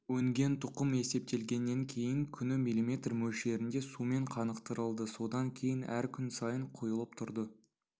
өнген тұқым есептелгеннен кейін күні миллиметр мөлшерінде сумен қанықтырылды содан кейін әр күн сайын құйылып тұрды